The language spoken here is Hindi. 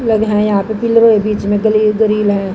लग है यहां पे पिलरों के बीच में गली ग्रिल है।